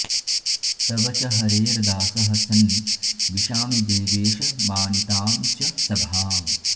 तव च हरेर्दासः सन् विशामि देवेश मानितां च सभाम्